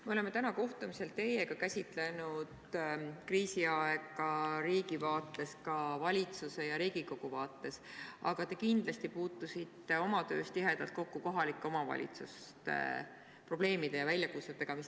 Me oleme tänasel kohtumisel käsitlenud kriisiaega riigi vaates – ka valitsuse ja Riigikogu vaates –, aga te kindlasti puutusite oma töös tihedalt kokku ka kohalike omavalitsuste kriisiaegsete probleemide ja väljakutsetega.